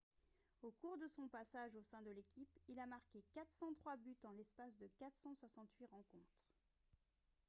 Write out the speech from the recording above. au cours de son passage au sein de l'équipe il a marqué 403 buts en l'espace de 468 rencontres